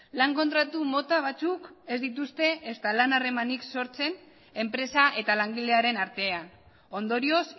lan kontratu mota batzuk ez dituzte ezta lan harremanik sortzen enpresa eta langilearen artean ondorioz